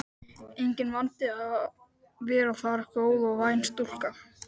Enginn vandi að vera þar góð og væn stúlka.